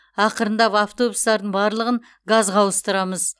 ақырындап автобустардың барлығын газға ауыстырамыз